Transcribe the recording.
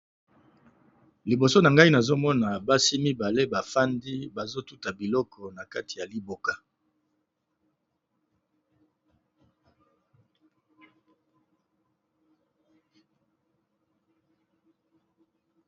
Liboso na ngai nazomona basi mibale bafandi bazotuta biloko na kati ya liboka.